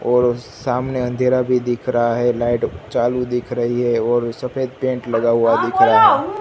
और सामने अंधेरा भी दिख रहा है लाइट चालू दिख रही है और सफेद पेंट लगा हुआ दिख रहा है।